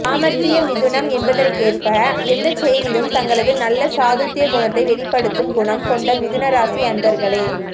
சாமர்த்திய மிதுனம் என்பதற்கேற்ப எந்த செயலிலும் தங்களது நல்ல சாதுர்ய குணத்தை வெளிப்படுத்தும் குணம் கொண்ட மிதுன ராசி அன்பர்களே